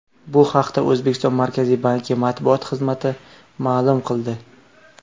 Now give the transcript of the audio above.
Bu haqda O‘zbekiston Markaziy banki matbuot xizmati ma’lum qildi .